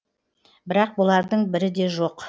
бірақ бұлардың бірі де жоқ